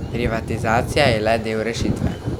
Privatizacija je le del rešitve.